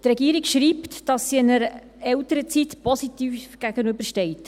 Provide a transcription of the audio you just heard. Die Regierung schreibt, dass sie einer Elternzeit positiv gegenübersteht.